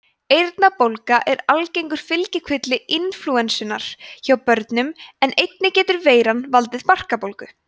eyrnabólga er algengur fylgikvilli inflúensunnar hjá börnum en einnig getur veiran valdið barkabólgu